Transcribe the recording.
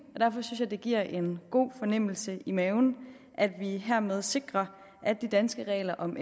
og derfor synes jeg det giver en god fornemmelse i maven at vi hermed sikrer at de danske regler om